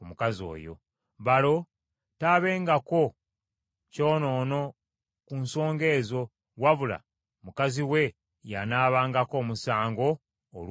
Balo taabengako kyonoono ku nsonga ezo wabula mukazi we y’anaabangako omusango olw’okwonoona kwe.’ ”